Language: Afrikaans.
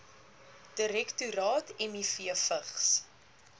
direktoraat miv vigs